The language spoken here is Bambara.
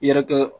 I yɛrɛ kɛ